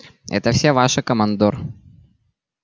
это всё ваше командор